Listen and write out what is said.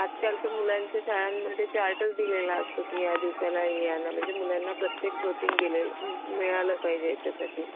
आज काल तर मुलांच्या शाळांमध्ये चार्टच दिलेला असंतो की या दिवासाला हे आना या दिवसाला हे म्हणजे मुलांना प्रत्येक प्रोटीन मिळालं पाहिजे यांच्या साठी